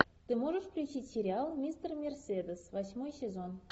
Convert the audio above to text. ты можешь включить сериал мистер мерседес восьмой сезон